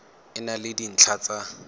e na le dintlha tsa